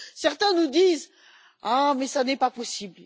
Certains nous disent Ah, mais ce n'est pas possible.